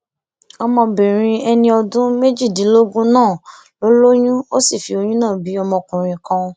ọmọbìnrin ẹni ọdún méjìdínlógún náà ló lóyún ó sì fi oyún náà bí ọmọkùnrin kan